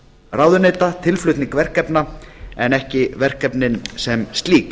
ráðuneyta tilflutning verkefna en ekki verkefnin sem slík